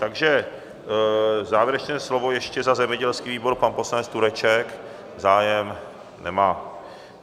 Takže závěrečné slovo ještě za zemědělský výbor - pan poslanec Tureček zájem nemá.